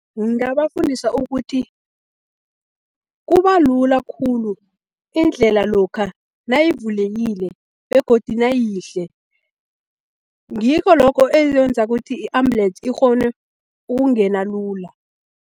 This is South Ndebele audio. Ngingabafundisa ukuthi kuba lula khulu indlela lokha nayivulekile begodu nayiyihle, ngikho lokho ekwenza ukuthi i-ambulensi ikghone ukungena lula.